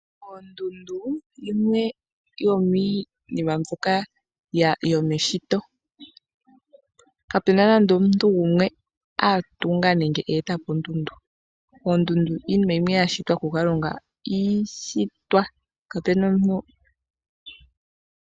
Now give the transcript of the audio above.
Ondundu oyimwe yominima mbyoka yomeshito, kapuna nande omuntu gumwe a tunga nenge etapo ondundu. Oondundu iinima yimwe ya shitwa kutate Kalunga iishitwa.